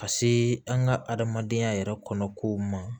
Ka se an ka adamadenya yɛrɛ kɔnɔ kow ma